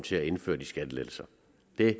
det er